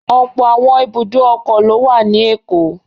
Ọ̀pọ̀ àwọn ibùdó ọkọ̀ ló wà ní Èkó.